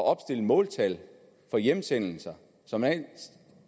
opstille måltal for hjemsendelser som man